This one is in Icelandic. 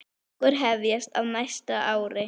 Tökur hefjast á næsta ári.